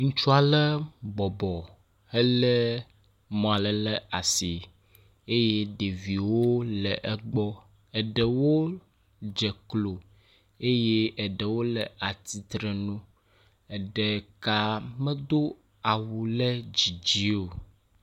Ŋutsua ɖe bɔbɔ hele mɔ aɖe ɖe asi eye ɖeviwo le egbɔ. Eɖewo dze klo eye ɖewo le atitrenu, eɖeka medo awu ɖe dzidzi o.